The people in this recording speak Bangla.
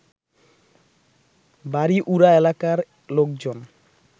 বাড়িউড়া এলাকার লোকজন